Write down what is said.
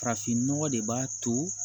Farafinnɔgɔ de b'a to